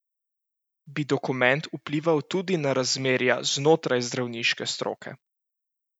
Bi dokument vplival tudi na razmerja znotraj zdravniške stroke?